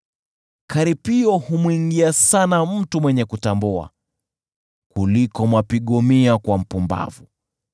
Karipio humwingia sana mtu mwenye kutambua kuliko mapigo mia kwa mpumbavu.